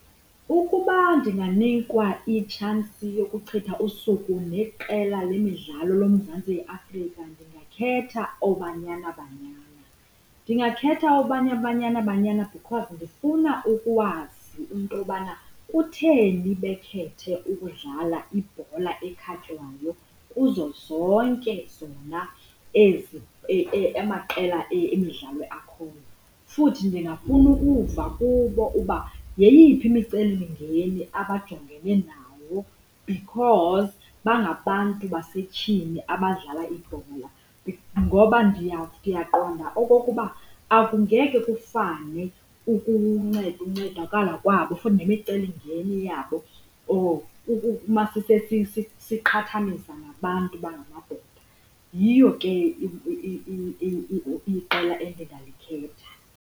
Ukuba ndinganikwa itshansi yokuchitha usuku neqela lemidlalo loMzantsi Afrika ndingakhetha ooBanyana Banyana. Ndingakhetha ooBanyana Banyana because ndifuna ukwazi into yobana kutheni bekhethe ukudlala ibhola ekhatywayo kuzo zonke zona ezi amaqela emidlalo akhoyo. Futhi ndingafuna ukuva kubo uba yeyiphi imicelimngeni abajongena nayo because bangabantu basetyhini abadlala ibhola, ngoba ndiyaqonda okokuba akungeke kufane ukunceda, ukuncedakala kwabo kufane nemicelimngeni yabo or siqhathamisa nabantu abangamadoda. Yiyo ke iqela endingalikhetha.